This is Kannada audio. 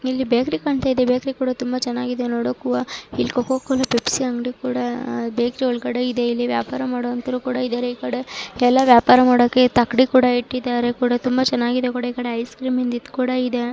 ಇಲ್ಲಿ ಬೇಕರಿ ಕಾಂತಾ ಇದೆ ಬೇಕರಿ ಕೂಡ ನೋಡಕ್ಕೆ ತುಂಬಾ ಚೆನ್ನೆಯಾಗಿ ಕಾಣ್ತಾ ಇದೆ ಇಲ್ಲಿ ಕೋಕಾ ಕೋಲಾ ಪೆಪ್ಸಿ ಕೂಡ ಇದೆ ಇಲ್ಲಿ ವ್ಯಾಪಾರ ಮಾಡೋರು ಕೂಡ ಎಲ್ಲ ವ್ಯಾಪಾರ ಮಾಡಕ್ಕೆ ತಕ್ಕಡಿ ಕೂಡ ಇಟ್ಟಿದಾರೆ ಕೂಡ ತುಂಬಾ ಚೆನ್ನಾಗಿದೆ ಕೊಡು ಐಸ್ ಕ್ರೀಮ್ ನಿಂದ ಕೂಡ ಇದೆ.